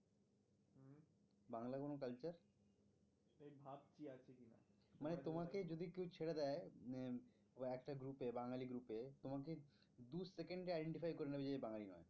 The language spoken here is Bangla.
মানে তোমাকে যদি কেউ ছেড়ে দেয় মানে একটা group এ বাঙালি group এ তোমাকে দু second এ identify কর নেবে যে এ বাঙালি নয়।